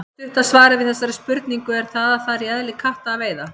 Stutta svarið við þessari spurningu er að það er í eðli katta að veiða.